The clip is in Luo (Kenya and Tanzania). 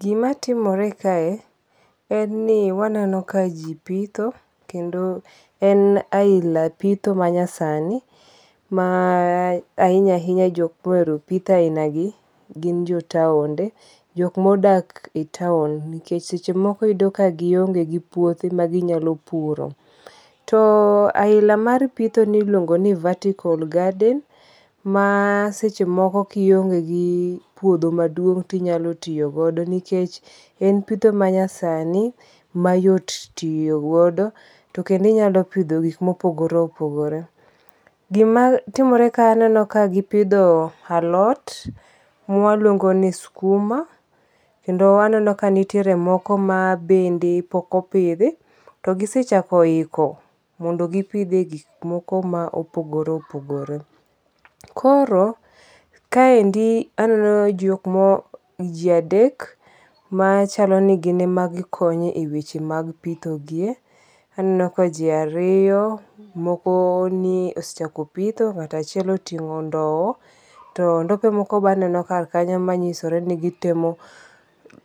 Gima timore kae en ni waneno ka ji pitho kendo en aina pitho ma nyasani ma ahinya ahinya jok mohero pitho ainagi gin jo taonde. Jok modak e taon nikech seche moko iyudo ka gionge gi puothe maginyalo puro. To aila mar pitho ni iluongo ni vertical garden ma seche moko kionge gi puodho maduong ti nyalo tiyogodo nikech en pitho manyasani mayot tiyogodo. Kendo inyalo pidho gik mopogore opogore. Gima timore ka aneno ka gipidho alot mwaluongo ni skuma. Kendo aneno kanitiere moko ma bende pok opidhi. To gisechako iko mondo gipidh e gik moko ma opogore opogore. Kor kaendi aneno jok mo ji adek machalo ni gine ma gikonyo e weche mag pitho gie. Aneno ka ji ariyo, moko osechako pitho. Ng'at achiel oting'o ndow. To ndope moko be aneno kar kanyo machiso ni gitemo